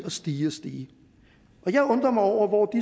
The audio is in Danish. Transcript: og stige og stige og jeg undrer mig over hvor